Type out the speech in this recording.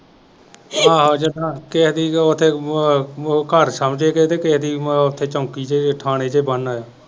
ਚੋਂਕੀ ਦੇ ਵਿੱਚ ਥਾਨੇ ਤੇ ਬੰਨ ਆਇਆ।